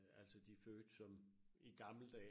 Altså de fødte som i gamle dage